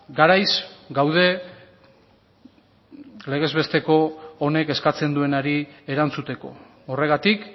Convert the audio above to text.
garaiz gaude legez besteko honek eskatzen duenari erantzuteko horregatik